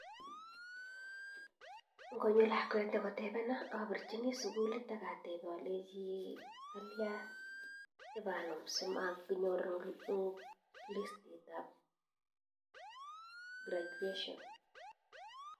Ngonyo lakwet akotepena apirchin sukul akatepee alechii kalyaa kipanum simatkonyor eng listit ab gradution